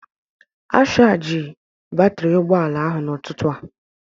A shargi batri ụgbọala ahụ n'ụtụtụ a